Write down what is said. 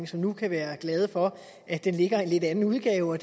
som nu kan være glade for at den ligger i en lidt anden udgave